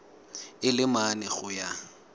a le mane go ya